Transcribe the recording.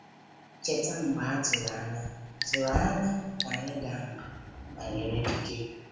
“Cheta mgbe a tụrụ anya tụrụ anya ka anyị daa mbà banyere ndị dike?”